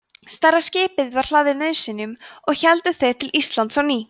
stærra skipið var hlaðið nauðsynjum og héldu þeir til íslands á ný